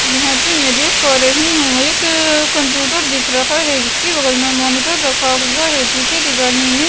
यहाँ पे मैं देख पा रही हूँ एकअअ कंप्यूटर दिख रहा है जिसके बगल में मॉनिटर रखा हुआ है पीछे दिगानी ने --